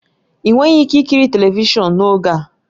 Ị nweghị ike ikiri telivishọn n'oge a